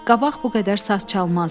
Qabaq bu qədər saz çalmazdı.